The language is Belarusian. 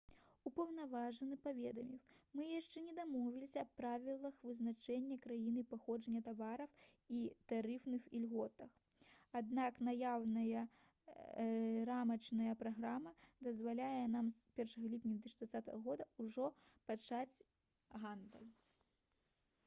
упаўнаважаны паведаміў: «мы яшчэ не дамовіліся аб правілах вызначэння краіны паходжання тавараў і тарыфных ільготах аднак наяўная рамачная праграма дазваляе нам з 1 ліпеня 2020 г. ужо пачаць гандаль»